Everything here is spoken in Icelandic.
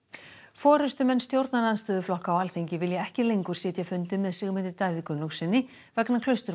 forystumenn stjórnarandstöðuflokka á Alþingi vilja ekki lengur sitja fundi með Sigmundi Davíð Gunnlaugssyni vegna